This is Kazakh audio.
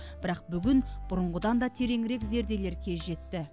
бірақ бүгін бұрынғыдан да тереңірек зерделер кез жетті